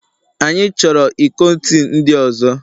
Anyị chọrọ iko tii ndị ọzọ